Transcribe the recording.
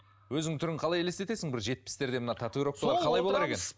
өзің түрің қалай есестетесің бір жетпістерде мына татуировкалар қалай болар екен